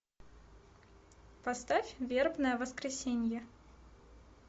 поставь вербное воскресенье